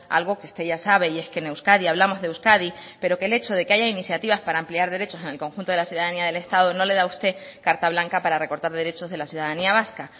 algo que usted ya sabe y es que en euskadi hablamos de euskadi pero que el hecho de que haya iniciativas para ampliar derechos en el conjunto de la ciudadanía del estado no le da a usted carta blanca para recortar derechos de la ciudadanía vasca